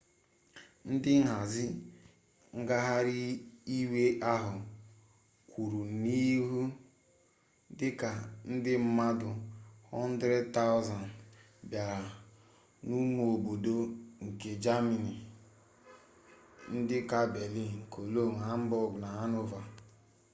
ndị nhazi ngagharị iwe ahụ kwuru n'ihe dị ka ndị mmadụ 100,000 bịara n'ụmụ obodo nke jamanị dị ka berlin cologne hamburg na hanover